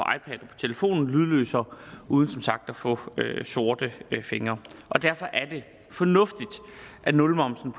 telefon lydløst og uden som sagt at få sorte fingre derfor er det fornuftigt at nulmomsen